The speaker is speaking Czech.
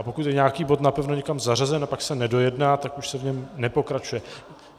A pokud je nějaký bod napevno někam zařazen a pak se nedojedná, tak už se v něm nepokračuje.